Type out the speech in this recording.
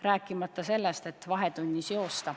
Vahetunnis joosta ei tohi mitte mingil juhul.